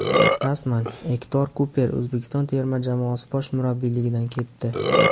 Rasman: Ektor Kuper O‘zbekiston terma jamoasi bosh murabbiyligidan ketdi.